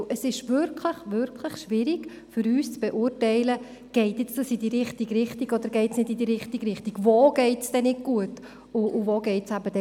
Es ist wirklich schwierig für uns, zu beurteilen, ob es in die richtige Richtung geht oder nicht, oder wo es nicht gut und wo es gut läuft.